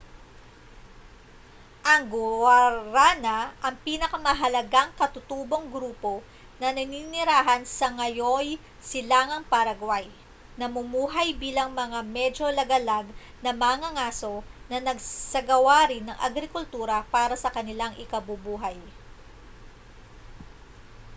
ang guaranã­ ang pinakamahalagang katutubong grupo na naninirahan sa ngayo'y silangang paraguay namumuhay bilang mga medyo lagalag na mangangaso na nagsagawa rin ng agrikultura para sa kanilang ikabubuhay